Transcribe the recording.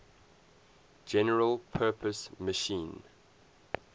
general purpose machine